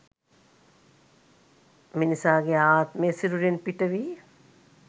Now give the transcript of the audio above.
මිනිසාගේ ආත්මය සිරුරින් පිටවී